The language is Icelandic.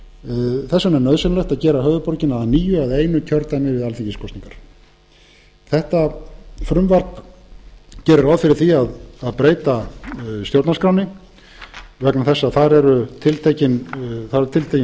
þess vegna er nauðsynlegt að gera höfuðborgina að nýju að einu kjördæmi við alþingiskosningar þetta frumvarp gerir ráð fyrir því að breyta stjórnarskránni vegna þess að þar er fjöldi kjördæma